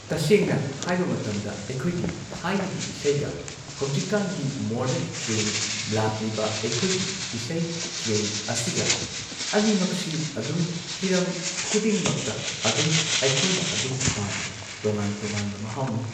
ꯇꯁꯦꯡꯅ ꯍꯥꯏꯕ ꯃꯇꯝꯗ ꯑꯩꯈꯣꯏꯒꯤ ꯊꯥꯏꯅꯒꯤ ꯏꯁꯩꯒ ꯍꯧꯖꯤꯛꯀꯥꯟꯒꯤ ꯃꯣꯔꯗꯟ ꯇ꯭ꯔꯦꯟꯗ ꯂꯥꯛꯂꯤꯕ ꯑꯩꯈꯣꯏꯒꯤ ꯏꯁꯩꯒꯤ ꯇ꯭ꯔꯦꯟ ꯑꯁꯤꯒ ꯑꯅꯤꯃꯛꯁꯤ ꯑꯗꯨꯝ ꯍꯤꯔꯝ ꯈꯨꯗꯤꯡꯃꯛꯇ ꯑꯗꯨꯝ ꯑꯩꯈꯣꯏꯅ ꯑꯗꯨꯝ ꯄꯥꯝꯃꯤ ꯇꯣꯉꯥꯟ ꯇꯣꯉꯥꯟꯕ ꯃꯍꯥꯎꯅꯤ꯫